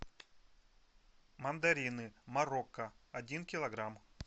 мандарины марокко один килограмм